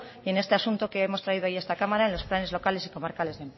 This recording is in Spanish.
y en este asunto que hoy hemos traído a esta cámara en los planes locales y comarcales